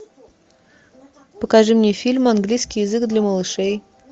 покажи мне фильм английский язык для малышей